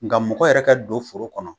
Nka mɔgɔ yɛrɛ kɛ don foro kɔnɔ